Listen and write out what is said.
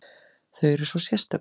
Þau eru svo sérstök.